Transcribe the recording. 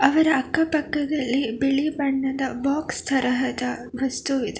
ಅವರ ಅಕ್ಕ ಪಕ್ಕದಲ್ಲಿ ಬಿಳಿ ಬಣ್ಣದ ಬಾಕ್ಸ್ ತರಹದ ವಸ್ತು ಇದೆ.